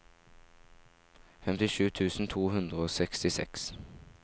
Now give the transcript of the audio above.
femtisju tusen to hundre og sekstiseks